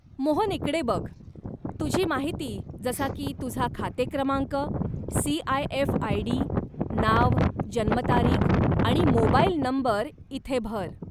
मोहन, इकडे बघ, तुझी माहिती जसा की तुझा खाते क्रमांक, सीआयएफ आयडी, नाव, जन्मतारीख आणि मोबाइल नंबर इथे भर.